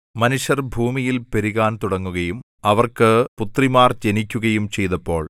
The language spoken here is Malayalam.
മനുഷ്യർ ഭൂമിയിൽ പെരുകാൻ തുടങ്ങുകയും അവർക്ക് പുത്രിമാർ ജനിക്കുകയും ചെയ്തപ്പോൾ